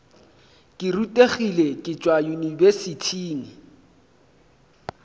ke rutegile ke tšwa yunibesithing